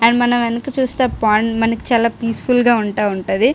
And మనం వెనకాల చుస్తే చాలా పీస్ ఫుల్ గా ఉంటుంది.